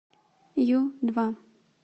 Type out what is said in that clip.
ю два